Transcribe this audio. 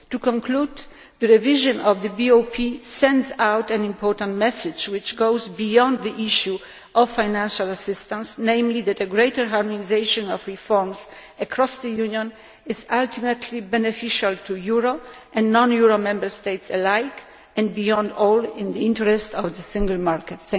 To conclude, the revision of the BOP sends out an important message which goes beyond the issue of financial assistance, namely that a greater harmonisation of reforms across the Union is ultimately beneficial to euro and non euro Member States alike and, above all, is in the interests of the single market.